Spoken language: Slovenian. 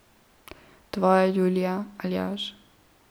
Tvoja Julija, Aljaž.